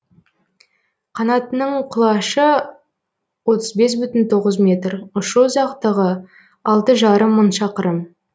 қанатының құлашы отыз бес бүтін тоғыз метр ұшу ұзақтығы алты жарым мың шақырым